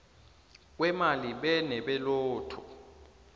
kweemali be nebelotto